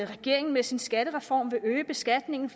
regeringen med sin skattereform vil øge beskatningen